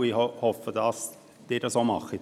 Ich hoffe, dass Sie dies auch tun.